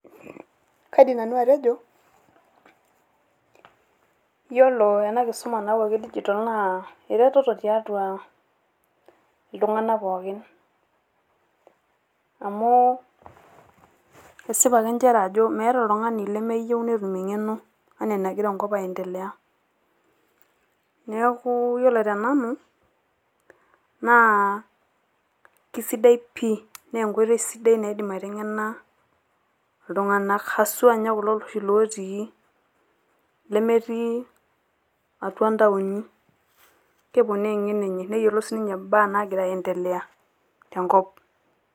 Kaidim nanu atejo, yiolo ena kisuma nayawuaki e digital naa eretoto tiatua iltung`anak pookin. Amu kesipa ake nchere ajo meeta oltung`ani lemeyieu netum eng`eno enaa enagira enkop aiendelea. Niaku yiolo te nanu naa keisidai pii naa enkoitoi sidai naidim aiteng`ena iltung`anak haswa ninye kulo oshi otii, nemetii atua ntawoni. Keponaa eng`eno enye neyiolou sii ninche imbaa naagra aendelea tenkop.